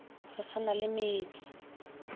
re sa na le metse